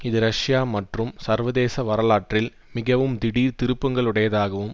இது ரஷ்ய மற்றும் சர்வதேச வரலாற்றில் மிகவும் திடீர் திருப்பங்களுடையதாகவும்